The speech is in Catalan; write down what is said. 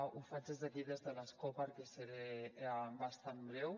ho faig des d’aquí des de l’escó perquè seré bastant breu